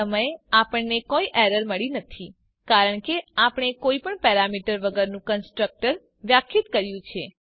આ સમયે આપણને કોઈ એરર મળી નથી કારણ કે આપણે કોઈ પણ પેરામીટર વગરનું કન્સ્ટ્રક્ટર વ્યાખ્યાયિત કર્યું છે